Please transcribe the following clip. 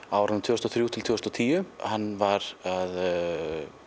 á árunum tvö þúsund og þrjú til tvö þúsund og tíu hann var að